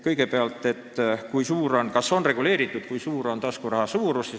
Kõigepealt küsis ta, kas taskuraha suurus on reguleeritud.